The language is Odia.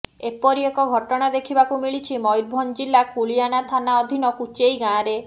ଏପରି ଏକ ଘଟଣା ଦେଖିବାକୁ ମିଳିଛି ମୟୂରଭଂଜ ଜିଲା କୁଳିଅଣା ଥାନା ଅଧୀନ କୁଚେଇ ଗାଁରେ